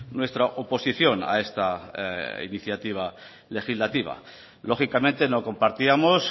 nuestra oposición a esta iniciativa legislativa lógicamente no compartíamos